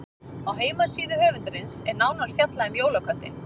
Á heimasíðu höfundarins er nánar fjallað um jólaköttinn.